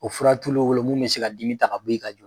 O fura t'ulu wolo mun bɛ se ka dimi ta k'a bɔ i ka j